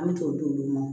An bɛ t'o di olu ma